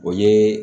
O ye